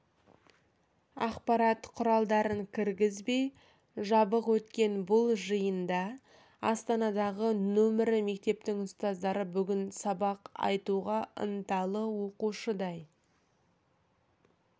ақпарат құралдарын кіргізбей жабық өткен бұл жиында астанадағы нөмірі мектептің ұстаздары бүгін сабақ айтуға ынталы оқушыдай